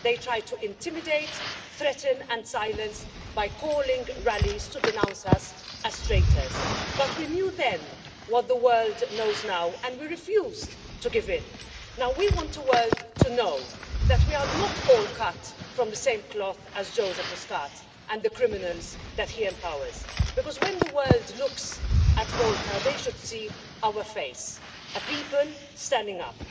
They tried to intimidate, threaten and silence by calling rallies to denounce us as traitors, but we knew then what the world knows now and we refused to give in. Now we want the world to know that we are not all cut from the same cloth as Joseph Muscat and the criminals that he empowers because, when the world looks at Malta, they should see our face, a people standing up.